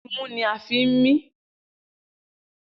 Imú ni a fi ń mí.